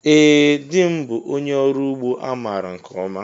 Ee dị m bụ ónyé ọrụ ụgbọ a maara nke ọma.